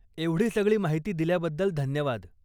एवढी सगळी माहिती दिल्याबद्दल धन्यवाद.